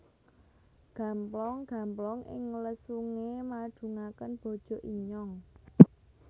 Gamplong gamplong ing lesunge madungaken bojo inyong